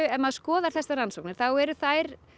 ef maður skoðar þessar rannsóknir þá eru þær